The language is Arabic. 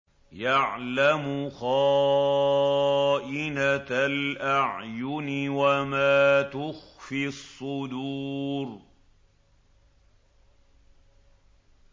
يَعْلَمُ خَائِنَةَ الْأَعْيُنِ وَمَا تُخْفِي الصُّدُورُ